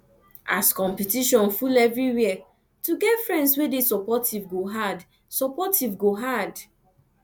as competition full everywhere to get friends wey dey supportive go hard supportive go hard